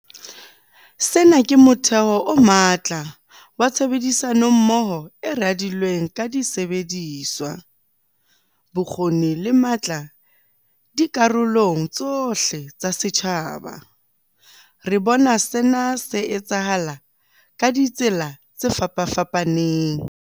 Sena ke motheo o matla wa tshebedisano mmoho e radilweng ka disebediswa, bokgoni le matla dikarolong tsohle tsa setjhaba. Re bona sena se etsahala ka ditsela tse fapafapaneng.